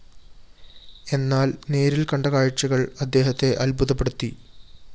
എന്നാല്‍ നേരില്‍ കണ്ട കാഴ്ചകള്‍ അദ്ദേഹത്തെ അത്ഭുതപ്പെടുത്തി